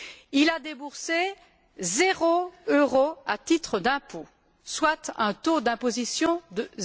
Il a déboursé zéro euro à titre d'impôts, soit un taux d'imposition de